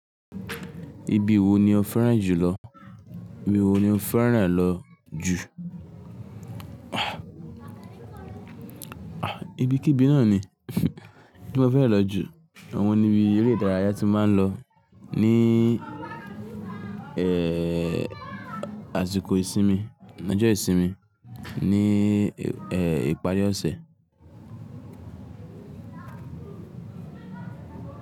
Ibi wo ni o fẹ́ràn jùlọ? Ibi wo ni o fẹ́ràn lọ jù? Ibi kí ibi náà ni tí mo fẹ́ràn lọ jù. Awọ́n ni ibi eré ìdárayá tí mo máa ń lọ ní, àsìkò ìsinmi, ní ọjọ́ ìsinmi, ní, ìparí ọ̀sẹ̀.